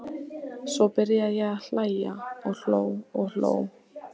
Svo byrjaði ég að hlæja og hló og hló.